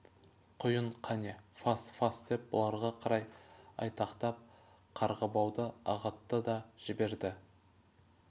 құйын қане фас фас деп бұларға қарай айтақтап қарғыбауды ағытты да жіберді